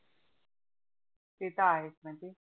ते तर आहेच म्हणजे.